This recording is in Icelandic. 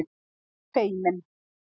Hann er feiminn.